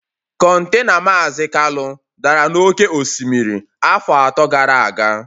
Contena Maazi Kalu dara n'oké osimiri afọ atọ gara aga